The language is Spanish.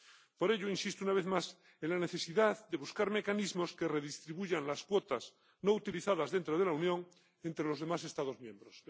Por ello, insisto una vez más en la necesidad de buscar mecanismos que redistribuyan las cuotas no utilizadas dentro de la Unión entre los demás Estados miembros.